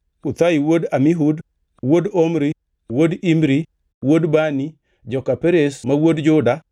Uthai wuod Amihud, wuod Omri, wuod Imri, wuod Bani, joka Perez ma wuod Juda.